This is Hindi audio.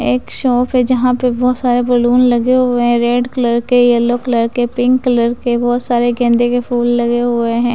एक शॉप है जहाँ पे बहुत सारे बलून लगे हुए हैं रेड कलर के यल्लो कलर के पिंक कलर के बहोत सारे गेंदे के फूल लगे हुए हैं।